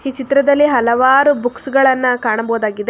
E ಚಿತ್ರದಲ್ಲಿ ಹಲವಾರು books ಗಳನ್ನ ಕಾಣಬಹುದಾಗಿದೆ.